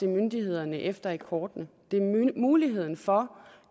myndighederne efter i kortene det er muligheden for